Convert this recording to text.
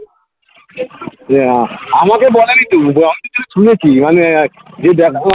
আমাকে বলেনি তো শুনেছি মানে